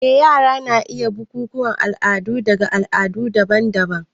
Eh, yara na iya yin bukukuwan al'adu daga al'adu daban-daban.